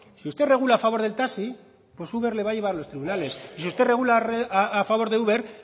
si usted regula a favor del taxi uber le va a llevar a los tribunales y si usted regula a favor de uber